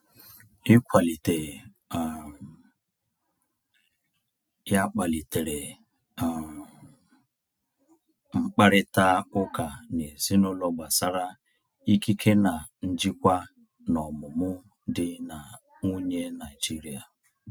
Ịkwalite um ya kpalitere um mkparịta ụka n’ezinụlọ gbasara ikike na njikwa n’ọmụmụ di na nwunye Naijiria.